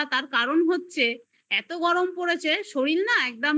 তার কারণ হচ্ছে এত গরম পড়েছে শরীর না একদম মানে